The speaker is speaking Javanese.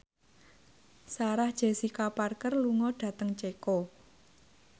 Sarah Jessica Parker lunga dhateng Ceko